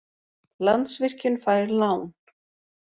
Landsvirkjun fær lán